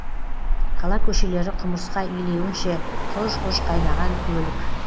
қала көшелері құмырсқа илеуінше құж құж қайнаған көлік